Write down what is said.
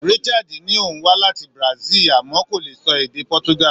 Richard ní òun wá láti Brazil àmọ́ kò lè sọ èdè Portugal.